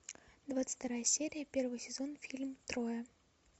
двадцать вторая серия первый сезон фильм троя